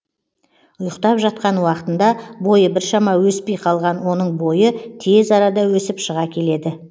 ұйықтап жатқан уақытында бойы біршама өспей қалған оның бойы тез арада өсіп шыға келеді